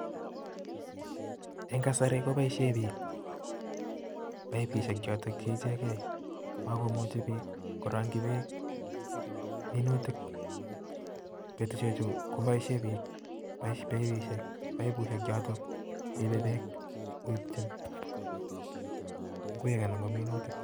Eng kasari kopoishe biik paipishek chotok che ichekei, makumuchi biik koring'chi beek minutik. Petushechu kopoishe biik paipishek paipushek chotok cheipe beek koipchin ng'wek anan ko minutik.